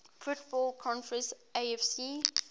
football conference afc